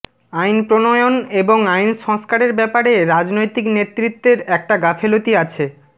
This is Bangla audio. আইন প্রণয়ন এবং আইন সংস্কারের ব্যাপারে রাজনৈতিক নেতৃত্বের একটা গাফেলতি আছে